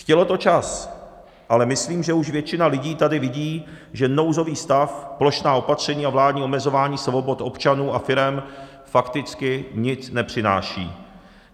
Chtělo to čas, ale myslím, že už většina lidí tady vidí, že nouzový stav, plošná opatření a vládní omezování svobod občanů a firem fakticky nic nepřináší.